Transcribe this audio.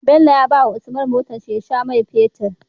Bello ya bawa usman motar shi ya sha mai fetir